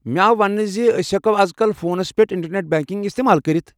مےٚ آو ونٛنہٕ زِ أسۍ ہٮ۪کو ازكل فونس پٮ۪ٹھ اِنٹرنٮ۪ٹ بینکنٛگ استعمال کٔرِتھ ۔